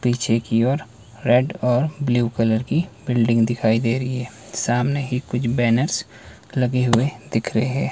पीछे की ओर रेड और ब्लू कलर की बिल्डिंग दिखाई दे रही है सामने ही कुछ बैनर्स लगे हुए दिख रहे--